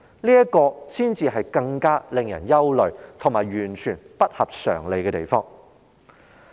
這才是令人更感憂慮及完全有違常理之處。